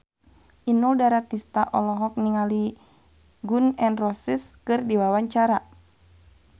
Inul Daratista olohok ningali Gun N Roses keur diwawancara